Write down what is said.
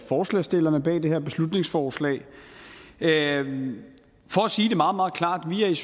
forslagsstillerne bag det her beslutningsforslag for at sige det meget meget klart vi er